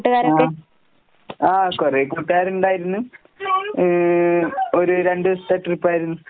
ആഹ്. ആഹ് കൊറേ കൂട്ടുകാരിണ്ടായിരുന്ന്. ഏ ഒരു രണ്ടൂസത്തെ ട്രിപ്പായിരുന്നു.